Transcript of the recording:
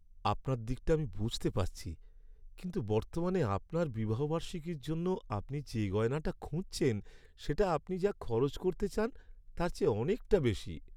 আপনার দিকটা আমি বুঝতে পারছি, কিন্তু বর্তমানে আপনার বিবাহবার্ষিকীর জন্য আপনি যে গয়নাটা খুঁজছেন সেটা আপনি যা খরচ করতে চান তার চেয়ে অনেকটা বেশী।